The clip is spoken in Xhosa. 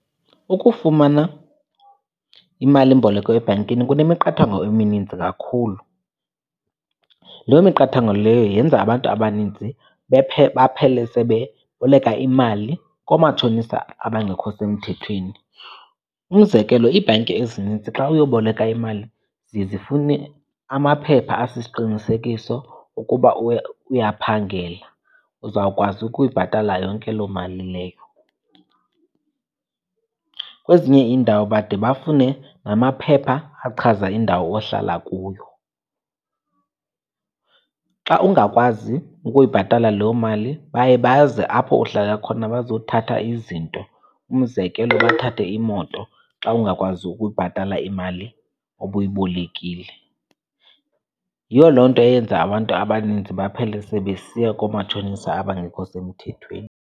Ukufumana imalimboleko ebhankini kunemiqathango emininzi kakhulu. Loo miqathango leyo yenza abantu abaninzi baphele sebeboleka imali koomatshonisa abangekho semthethweni. Umzekelo, iibhanki ezininzi xa uyoboleka imali ziye zifune amaphepha asisiqinisekiso ukuba uyaphangela uzawukwazi ukuyibhatala yonke loo mali leyo. Kwezinye iindawo bade bafune namaphepha achaza indawo ohlala kuyo. Xa ungakwazi ukuyibhatala loo mali baye baze apho uhlala khona bazothatha izinto. Umzekelo, bathathe imoto xa ungakwazi ukuyibhatala imali obuyibolekile. Yiyo loo nto eyenza abantu abaninzi baphele sebesiya koomatshonisa abangekho semthethweni.